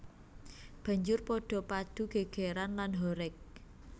Banjur padha padu gègèran lan horeg